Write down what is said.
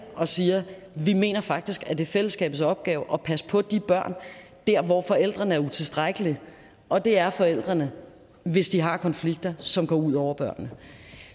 og sige vi mener faktisk at det er fællesskabets opgave at passe på de børn der hvor forældrene er utilstrækkelige og det er forældrene hvis de har konflikter som går ud over børnene